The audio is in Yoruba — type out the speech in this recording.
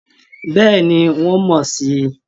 Bẹ́ẹ̀ ni, wọ́n mọ̀ sí i